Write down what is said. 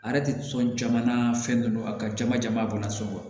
A yɛrɛ tɛ sɔn jamana fɛn dɔ ye a ka jama jama bɔla so wa